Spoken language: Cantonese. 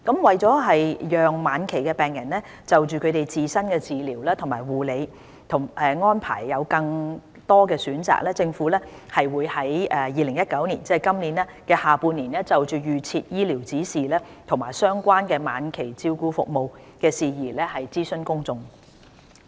為讓晚期病人就他們自身的治療及護理安排有更多選擇，政府會於2019年下半年就預設醫療指示及相關晚期照顧服務的事宜諮詢公眾。